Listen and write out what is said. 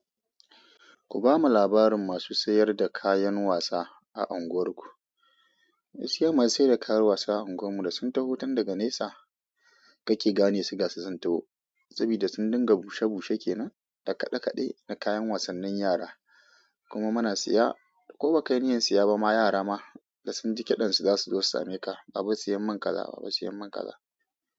Ku ba mu labarin masu sayar da kayan wasa a unguwarku. Wasu yan masu sayar da kayan wasa a unguwar mu da sun taho tun daga nesa kake gane su gasu sun taho. Saboda sun dinga bushe bushe kenan da kaɗe kaɗe na kayan wasannin yara. Kuma muna siya, ko ba ka yi niyyar siya ba ma yara ma da sun ji kiɗansu, za su zo su same ka. Baba sayan min kaza, baba sayan min kaza.